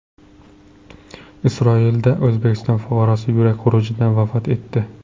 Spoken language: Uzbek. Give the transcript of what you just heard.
Isroilda O‘zbekiston fuqarosi yurak xurujidan vafot etdi.